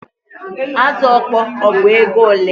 Azụ ọkpọr ọ bụ ego ole?